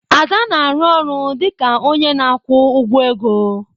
Ada na-arụ ọrụ dị ka onye na-akwụ ụgwọ ego.